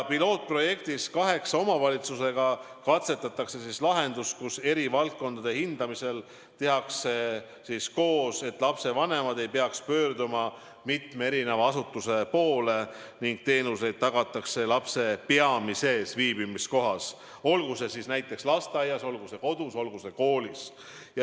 Pilootprojektis, milles osaleb kaheksa omavalitsust, katsetatakse lahendust, kus eri valdkondade hindamised tehakse koos, et lapsevanemad ei peaks pöörduma mitme eri asutuse poole, ning teenused on tagatud lapse peamises viibimiskohas – olgu see näiteks lasteaias, olgu see kodus, olgu see koolis.